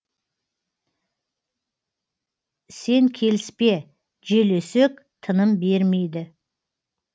сен келіспе жел өсек тыным бермейді